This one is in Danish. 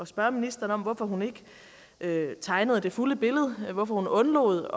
spørge ministeren om hvorfor hun ikke tegnede det fulde billede og hvorfor hun undlod